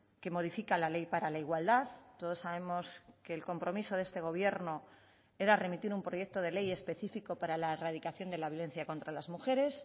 que modifica la ley para la igualdad todos sabemos que el compromiso de este gobierno era remitir un proyecto de ley específico para la erradicación de la violencia contra las mujeres